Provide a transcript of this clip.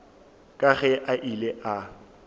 ka ge a ile a